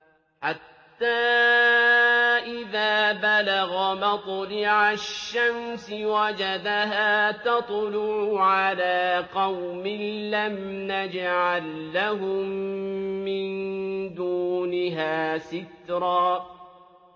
حَتَّىٰ إِذَا بَلَغَ مَطْلِعَ الشَّمْسِ وَجَدَهَا تَطْلُعُ عَلَىٰ قَوْمٍ لَّمْ نَجْعَل لَّهُم مِّن دُونِهَا سِتْرًا